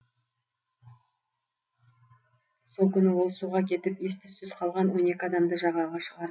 сол күні ол суға кетіп ес түзсіз қалған он екі адамды жағаға шығарды